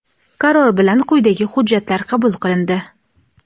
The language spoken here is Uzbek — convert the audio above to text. Qaror bilan quyidagi hujjatlar qabul qilindi:.